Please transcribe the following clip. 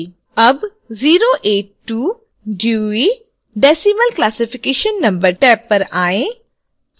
tab 082 dewey decimal classification number tab पर आएँ